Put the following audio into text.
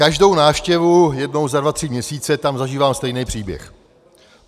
Každou návštěvu jednou za dva tři měsíce tam zažívám stejný příběh.